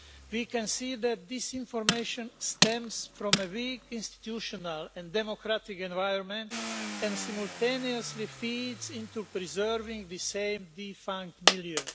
We can see that this information stems from a weak institutional and democratic environment, and simultaneously feeds into preserving the same defined milieu.